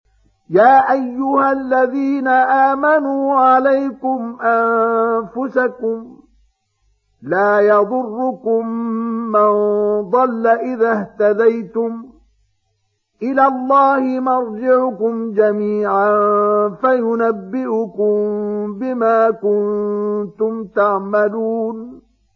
يَا أَيُّهَا الَّذِينَ آمَنُوا عَلَيْكُمْ أَنفُسَكُمْ ۖ لَا يَضُرُّكُم مَّن ضَلَّ إِذَا اهْتَدَيْتُمْ ۚ إِلَى اللَّهِ مَرْجِعُكُمْ جَمِيعًا فَيُنَبِّئُكُم بِمَا كُنتُمْ تَعْمَلُونَ